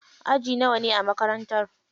Aji nawane a makarantar?